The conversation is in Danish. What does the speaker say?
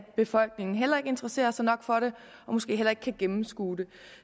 befolkningen heller ikke interesserer sig nok for det og måske heller ikke kan gennemskue det